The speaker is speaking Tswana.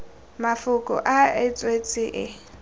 mafoko a e tswetswe e